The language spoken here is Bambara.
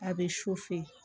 A bɛ su fɛ